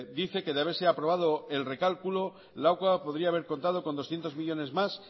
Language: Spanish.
dice que de haberse aprobado el recálculo lakua podría haber contado con doscientos millónes más